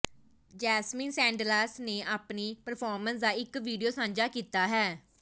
Jasmine Sandlas ਨੇ ਆਪਣੀ performance ਦਾ ਇੱਕ ਵੀਡੀਓ ਸਾਂਝਾ ਕੀਤਾ ਹੈ